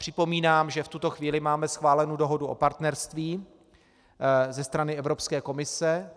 Připomínám, že v tuto chvíli máme schválenu dohodu o partnerství ze strany Evropské komise.